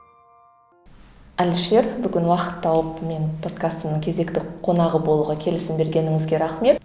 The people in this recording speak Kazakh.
әлішер бүгін уақыт тауып менің подкастымның кезекті қонағы болуға келісім бергеніңізге рахмет